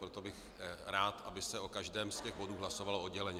Proto bych rád, aby se o každém z těch bodů hlasovalo odděleně.